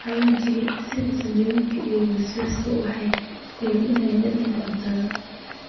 xawaashka sida zanjabilka iyo basbaaska waxay kordhiyaan dhadhanka cuntada.